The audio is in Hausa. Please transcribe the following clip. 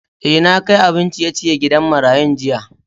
Eh, na kai abin ciye-ciyen gidan marayun jiya.